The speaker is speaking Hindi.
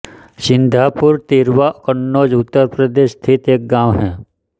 सिंघापुर तिरवा कन्नौज उत्तर प्रदेश स्थित एक गाँव है